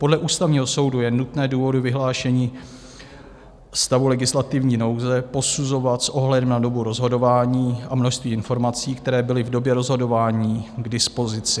Podle Ústavního soudu je nutné důvody vyhlášení stavu legislativní nouze posuzovat s ohledem na dobu rozhodování a množství informací, které byly v době rozhodování k dispozici.